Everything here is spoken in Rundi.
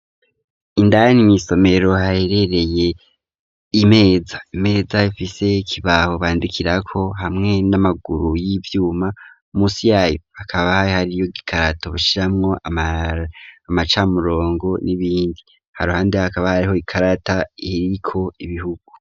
Indani mw'isomero haherereye imeza, Imeza ifise ikibaho bandikirako hamwe n'amaguru y'ivyuma musi yaho hakaba hariyo gikarato bashiramwo amacamurongo n'ibindi haruhande hakaba hariho ikarata iriko ibihugu.